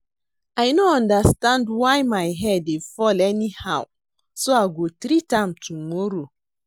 I no understand why my hair dey fall anyhow so I go treat am tomorrow